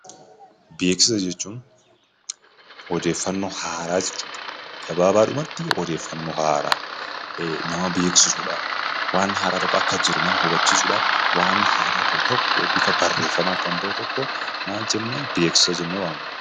Beeksisa jechuun odeeffannoo haaraa jechuudha. Gabaabaadhumatti odeeffannoo haaraa nama beeksisuudhaaf, waan haaraa tokko akka jiru nama hubachiisuudhaaf ,waan haaraa ba'u tokko bifa barreeffamaan kan ba'u tokko maal jennaa beeksisa jennee waamna.